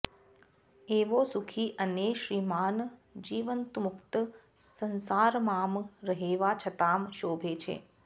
एवो सुखी अने श्रीमान जीवन्मुक्त संसारमां रहेवा छतां शोभे छे